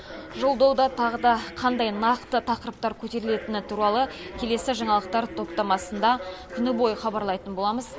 жолдауда тағы да қандай нақты тақырыптар көтерелітіні туралы келесі жаңалықтар топтамасында күні бойы хабарлайтын боламыз